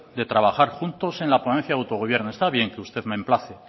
de trabajar juntos en la ponencia de autogobierno está bien que usted me emplace